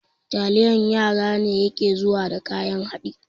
Taliyan yara ne yake zuwa da kayan haɗi